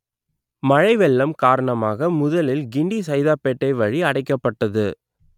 மழை வெள்ளம் காரணமாக முதலில் கிண்டி சைதாப்பேட்டை வழி அடைக்கப்பட்டது